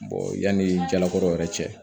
yanni jalakɔrɔ yɛrɛ cɛ